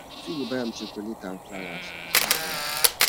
yu fit dey buy am chokolet nd flawas ones ones